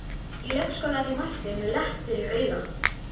Í leikskólann er ég mættur með lepp fyrir auga.